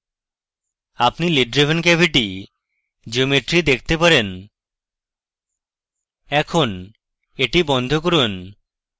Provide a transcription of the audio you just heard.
আপনি lid driven cavity geometry দেখতে পারেন এখন এটি বন্ধ করুন